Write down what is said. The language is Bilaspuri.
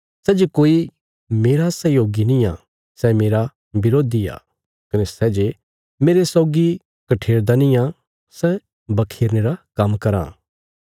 सै जे कोई मेरा सहयोगी निआं सै मेरा बरोधी आ कने सै जे मेरे सौगी कठेरदा निआं सै बखोरने रा काम्म कराँ